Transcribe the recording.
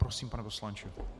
Prosím, pane poslanče.